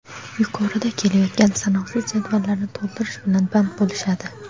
yuqoridan kelayotgan sanoqsiz jadvallarni to‘ldirish bilan band bo‘lishadi.